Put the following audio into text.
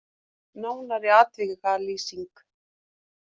Nánari atvikalýsing